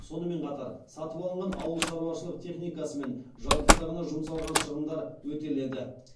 сонымен қатар сатып алынған ауыл шаруашылық техникасы мен жабдықтарына жұмсалған шығындар өтеледі